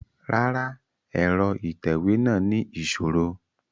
Rárá, ẹrọ itẹwe náa ni iṣoro